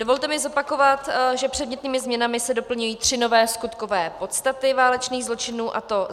Dovolte mi zopakovat, že předmětnými změnami se doplňují tři nové skutkové podstaty válečných zločinů, a to